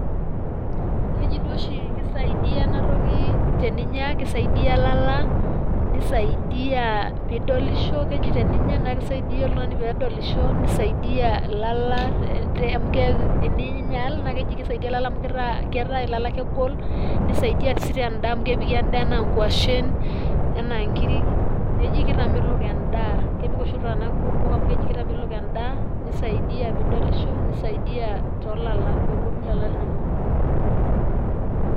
Keji duo oshi kisaidia enatoki teninya kiesidia ilala ,nisaidia pidolisho ,keji teninya naa kisaidia oltungani pedolisho ,nisaidia ilala te amu keku teninyaal naa keji kitaa keaku ilala kegol ,nisaidia sii tendaa amu kepiki endaa anaa kwashen ena nkiri neji kitamelok endaa ,kepik oshi iltunganak kumok amu keji kitamelok endaa ,nisaidia pidolisho nisaidia too lala pegolu ilala linonok.